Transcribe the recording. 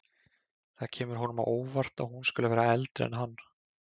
Það kemur honum á óvart að hún skuli vera eldri en hann.